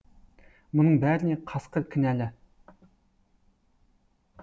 мұның бәріне қасқыр кінәлі